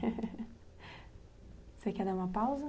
Você quer dar uma pausa?